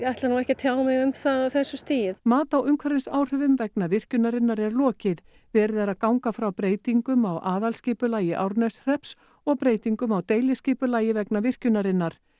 ætla nú ekki að tjá mig um það á þessu stigi mati á umhverfisáhrifum vegna virkjunarinnar er lokið verið er að ganga frá breytingum á aðalskipulagi Árneshrepps og breytingum á deiliskipulagi vegna virkjunarinnar